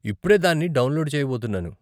ఇప్పుడే దాన్ని డౌన్లోడ్ చేయబోతున్నాను.